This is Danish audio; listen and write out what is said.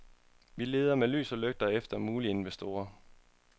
Vi leder med lys og lygte efter mulige investorer.